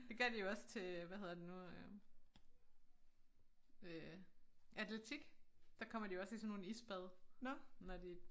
Det gør de jo også til hvad hedder det nu øh øh atletik der kommer de jo også i sådan nogle isbad når de